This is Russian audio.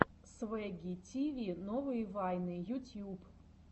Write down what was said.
свэгги тиви новые вайны ютьюб